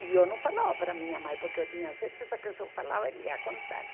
E eu não falava para minha mãe, porque eu tinha certeza que se eu falava, ele ia contar.